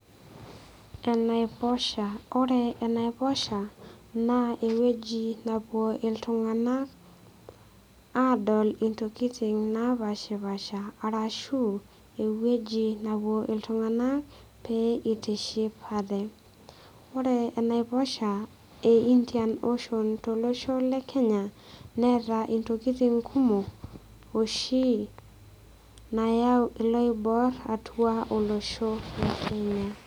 Enaiposha ore enaiposha naa ewueji napuo iltung'anak aadol intokiting napashipasha arashu ewueji napuo iltung'anak pee eitiship ate ore enaiposha e indian ocean tolosho le kenya neeta intokitin kumok oshi nayau iloiborr atua olosho le Kenya.